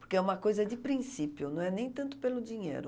Porque é uma coisa de princípio, não é nem tanto pelo dinheiro.